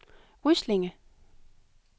Ryslinge